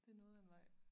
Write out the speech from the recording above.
Det noget af en vej